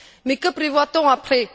Mais que prévoit on après?